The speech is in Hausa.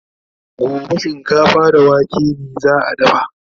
gobe shinkafa da wake za'a dafa